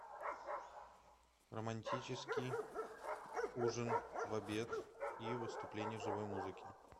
романтический ужин в обед и выступление живой музыки